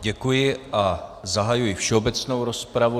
Děkuji a zahajuji všeobecnou rozpravu.